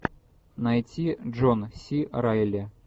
найти джон си райли